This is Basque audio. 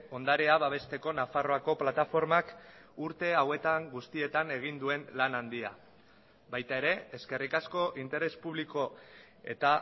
ondarea babesteko nafarroako plataformak urte hauetan guztietan egin duen lan handia baita ere eskerrik asko interes publiko eta